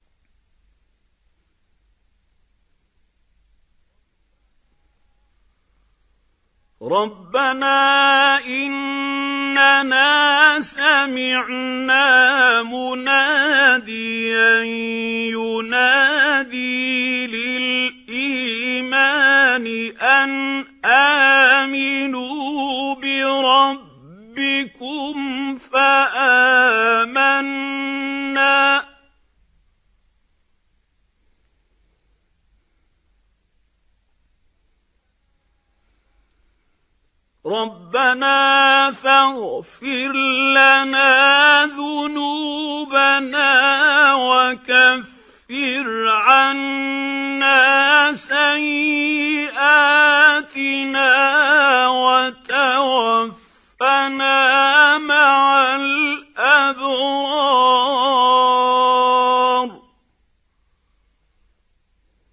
رَّبَّنَا إِنَّنَا سَمِعْنَا مُنَادِيًا يُنَادِي لِلْإِيمَانِ أَنْ آمِنُوا بِرَبِّكُمْ فَآمَنَّا ۚ رَبَّنَا فَاغْفِرْ لَنَا ذُنُوبَنَا وَكَفِّرْ عَنَّا سَيِّئَاتِنَا وَتَوَفَّنَا مَعَ الْأَبْرَارِ